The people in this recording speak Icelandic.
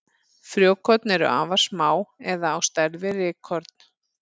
Frjókorn eru afar smá eða á stærð við rykkorn.